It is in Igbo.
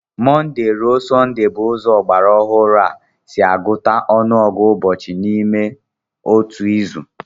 Mọnde ruo Sọnde bụ ụzọ ọgbara ọhụrụ a si agụta ọnụọgụ ụbọchị n'ime otu izu